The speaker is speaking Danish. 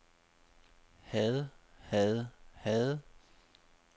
havde havde havde